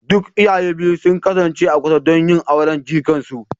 Duk iyaye biyu sun kasance a kusa don yin auren jikan su